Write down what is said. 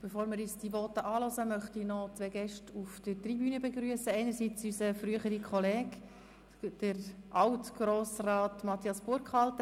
Bevor wir diesen Worten zuhören, möchte ich noch zwei Gäste auf der Tribüne begrüssen, zum einen unseren früheren Kollegen, Alt-Grossrat Matthias Burkhalter.